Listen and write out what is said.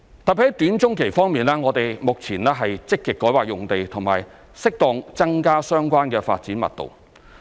特別在短中期方面，我們目前積極改劃用地和適當增加相關的發展密度。